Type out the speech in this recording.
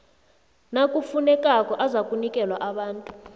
nakufunekako azakunikelwa abantu